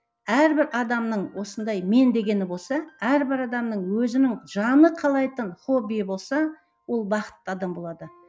әрбір адамның осындай мен дегені болса әрбір адамның өзінің жаны қалайтын хоббиі болса ол бақытты адам болады